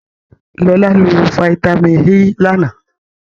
Lọlá lo fataímìn E lánàá.